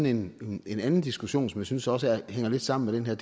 en anden diskussion som jeg synes også hænger lidt sammen med den her